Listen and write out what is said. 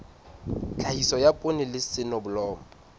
tlhahiso ya poone le soneblomo